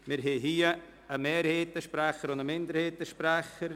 Wir haben einen Mehrheitssprecher und einen Minderheitssprecher.